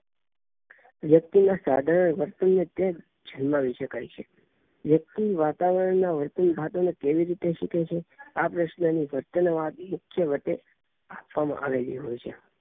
વ્યક્તિ ના સાધારણ વર્તન ને ત્યાં જ જન્માવી શકાય છે વ્યક્તિ વાતાવરણ ના વર્તન સાથે કેવી રીતે શીખે છે આ પ્રશ્ન ની આપવામાં આવેલી હોઈ છે